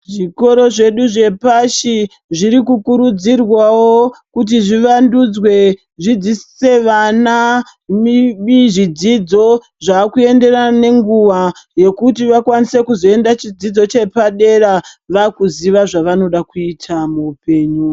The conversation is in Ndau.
Zvikoro zvedu zvepashi zvirikukurudzirwawo kuti zvivandudzwe zvidzidzise vana zvidzidzo zvakuenderana nenguwa yekuti vakwanise kuzoenda chidzidzo chepadera vakuziya zvavanoda kuita muhupenyu.